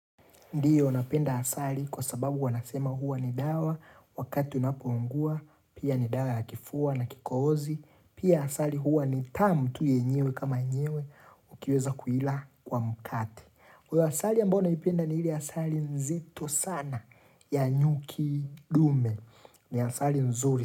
Ndiyo, napenda asali kwa sababu wanasema huwa ni dawa wakati unapoungua, pia ni dawa la kifua na kikozi, pia asali huwa ni tamu tu yenyewe kama nyewe ukiweza kuila kwa mkate. Kwa asali ya mbona naipenda ni ili asali nzito sana ya nyuki ndume, ni asali nzuri.